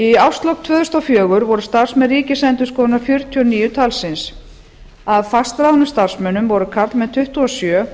í árslok tvö þúsund og fjögur voru starfsmenn ríkisendurskoðunar fjörutíu og níu talsins af fastráðnum starfsmönnum voru karlmenn tuttugu og sjö